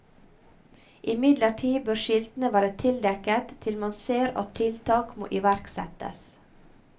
Imidlertid bør skiltene være tildekket til man ser at tiltak må iverksettes.